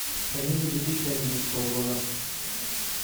комедии две тысячи одиннадцатого года